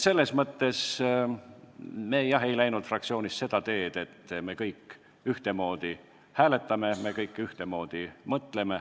Me, jah, ei läinud fraktsioonina seda teed, et hääletame kõik ühtemoodi ja mõtleme kõik ühtemoodi.